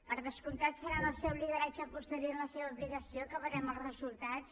per descomptat serà en el seu lideratge posterior i en la seva aplicació que en veurem els resultats